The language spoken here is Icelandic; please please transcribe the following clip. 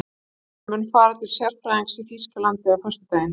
Hann mun fara til sérfræðings í Þýskalandi á föstudag.